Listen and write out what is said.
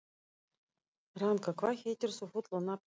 Ranka, hvað heitir þú fullu nafni?